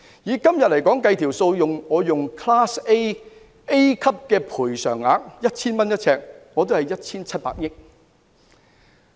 以今天 Class A 每平方呎的賠償額為 1,000 元來計算，總金額是 1,700 億元。